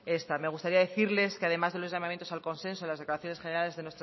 esta me gustaría decirles que además de los llamamientos al consenso las declaraciones generales